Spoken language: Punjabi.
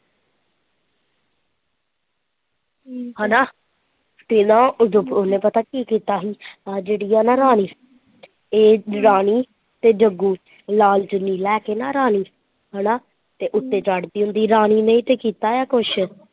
ਹੈਨਾ ਤੇ ਨਾ ਉਹਨੇ ਪਤਾ ਕੀ ਕੀਤਾ ਸੀ ਆਹ ਜਿਹੜੀ ਹੈ ਨਾ ਰਾਣੀ ਤੇ ਇਹ ਰਾਣੀ ਤੇ ਜੱਗੂ ਲਾਲ ਚੁੰਨੀ ਲੈ ਕੇ ਨਾ ਰਾਣੀ ਹੇਨਾ ਤੇ ਉੱਤੇ ਚੜਦੀ ਹੁੰਦੀ ਤੇ ਰਾਣੀ ਨੇ ਹੀ ਤਾਂ ਕੀਤਾ ਕੁਝ।